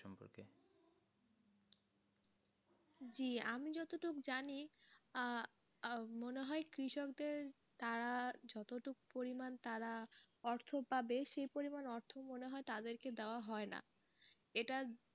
জি আমি যতদূর জানি আহ মনে হয় কৃষকদের তারা যতটুকু পরিমান, তারা অর্থ পাবে সে পরিমান অর্থ মনে হয় তাদেরকে দেওয়া হয় না এটা,